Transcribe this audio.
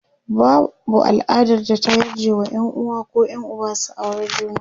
babau al'adar da ta yarje wa Yan uwa koh Yan Uba su aure juna